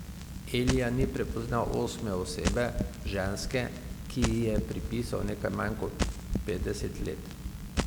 Elija ni prepoznal osme osebe, ženske, ki ji je pripisal nekaj manj kot petdeset let.